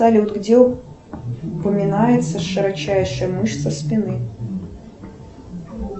салют где упоминается широчайшая мышца спины